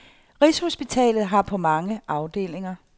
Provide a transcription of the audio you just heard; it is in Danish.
Rigshospitalet har på mange afdelinger.